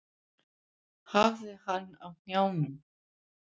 Hafði hann á hnjánum.